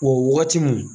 O wagati mun